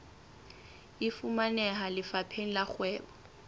e fumaneha lefapheng la kgwebo